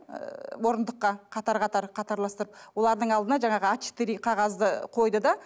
ыыы орындыққа қатар қатар қатарластырып олардың алдына жаңағы а четыре қағазды қойды да